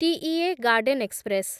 TEA garden express